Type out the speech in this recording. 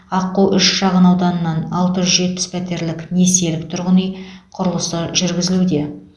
аққу үш шағынауданынан алты жүз жетпіс пәтерлік несиелік тұрғын үй құрылысы жүргізілуде